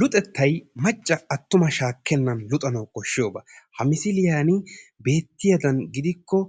Luxettay macca attuma shaakkennan luxanawu koshshiyooba. Ha misiliyan beettiyadan gidikko